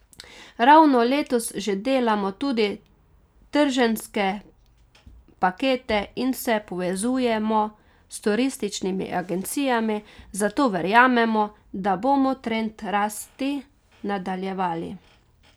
Ravno letos že delamo tudi trženjske pakete in se povezujemo s turističnimi agencijami, zato verjamemo, da bomo trend rasti nadaljevali.